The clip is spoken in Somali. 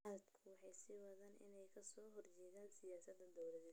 Mucaaradku waxay sii wadaan inay ka soo horjeedaan siyaasadda dawladda.